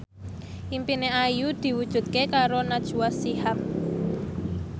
impine Ayu diwujudke karo Najwa Shihab